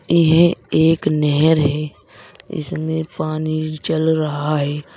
यह एक नहर है इसमें पानी चल रहा है।